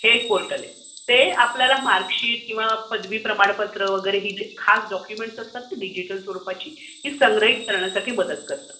हे एक पोर्टल आहे. ते आपल्याला मार्कशीट किंवा पदवी प्रमाणपत्र ही जी डोक्युमेंट्स असतात ना डिजिटल स्वरुपातील ती संग्रहीत करण्यासाठी मदत करते.